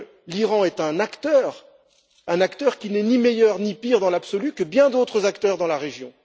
L'Iran est donc un acteur, qui n'est ni meilleur ni pire dans l'absolu que bien d'autres acteurs dans la région.